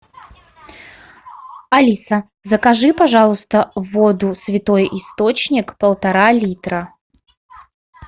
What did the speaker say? алиса закажи пожалуйста воду святой источник полтора литра